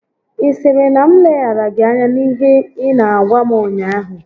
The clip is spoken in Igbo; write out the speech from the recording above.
Ị sịrị na m leghara gị anya n'ihe ị n'agwa m ụnyaahụ?